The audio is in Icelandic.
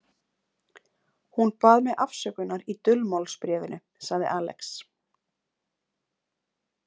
Hún bað mig afsökunar í dulmálsbréfinu, sagði Alex.